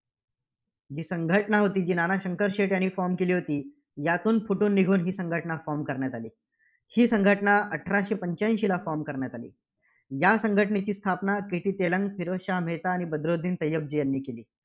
जी संघटना होती, जी नाना शंकर शेठ यांनी form केली होती. यातून फुटून निघून ही संघटना form करण्यात आली. ही संघटना अठराशे पंच्याऐंशीला from करण्यात आली. या संघटनेची स्थापना KT तेलंग, फिरोजशहा मेहता, आणि बद्रुद्दीन तय्यबजी यांनी केली.